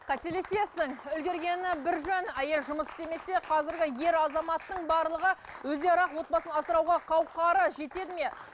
қателесесің үлгергені бір жөн әйел жұмыс істемесе қазіргі ер азаматтың барлығы өздері ақ отбасын асырауға қауқары жетеді ме